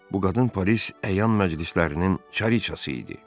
Bu qadın Paris əyan məclislərinin çariçası idi.